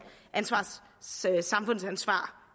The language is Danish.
samfundsansvar